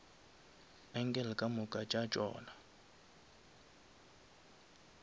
angle ka moka ga tšona